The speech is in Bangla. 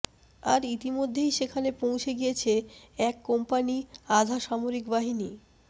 আর ইতিমধ্যেই সেখানে পৌঁছে গিয়েছে এক কোম্পানি আধা সামরিকবাহীনি